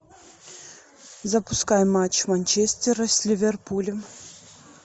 запускай матч манчестера с ливерпулем